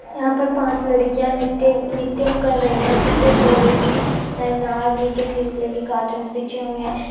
यहाँ पर पांच लड़कियां नित्य-नित्यम् कर रही है। पीछे भोले जी नाग नीचे ग्रीन कलर के कार्टन बिछे हुए है।